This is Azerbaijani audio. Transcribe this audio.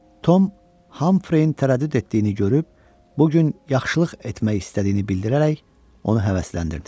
Tom Hamfreyin tərəddüd etdiyini görüb, bu gün yaxşılıq etmək istədiyini bildirərək, onu həvəsləndirdi.